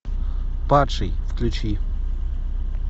падший включи